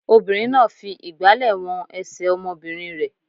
Obìnrin náà fi ìgbàlẹ̀ wọn ẹsẹ̀ ọmọbìnrin rẹ̀.